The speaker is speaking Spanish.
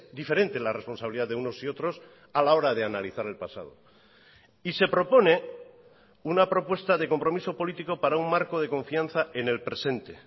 diferente la responsabilidad de unos y otros a la hora de analizar el pasado y se propone una propuesta de compromiso político para un marco de confianza en el presente